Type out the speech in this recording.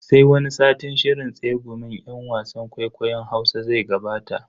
Sai wani satin shirin tsegumin yan wasan kwaikwayon Hausa zai gabata.